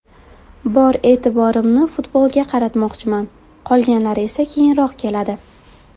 Bor e’tiborimni futbolga qaratmoqchiman, qolganlari esa keyinroq keladi.